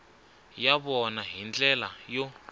ya vona hi ndlela yo